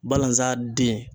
Balazan den.